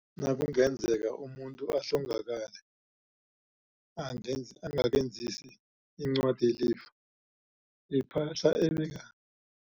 Nakungenzeka umuntu ahlongakale angensi angakenzisi incwadi yelifa, ipahla ebeka